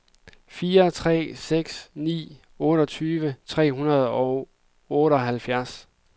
fire tre seks ni otteogtyve tre hundrede og otteoghalvfjerds